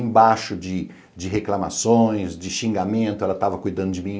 Embaixo de de reclamações, de xingamento, ela estava cuidando de mim.